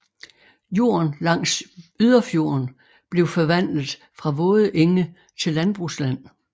Jorden langs yderfjorden blev forvandlet fra våde enge til landbrugsland